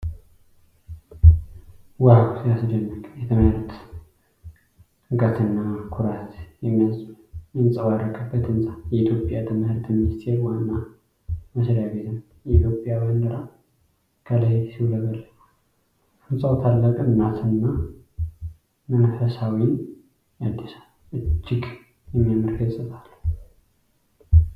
ዋው ሲያስደንቅ! የትምህርት ጥምቀትና ኩራት የሚንጸባረቅበት ህንጻ። የኢትዮጵያ ትምህርት ሚኒስቴር ዋና መስሪያ ቤት ነው። የኢትዮጵያ ባንዲራ ከላይ ሲውለበለብ ። ህንጻው ታላቅነትንና መንፈስን ያድሳል ። እጅግ የሚያምር ገጽታ አለው!!!።